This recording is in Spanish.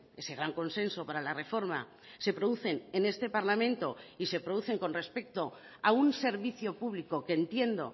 ese gran consenso para la reforma se producen en este parlamento y se producen con respecto a un servicio público que entiendo